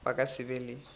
ba ka se be le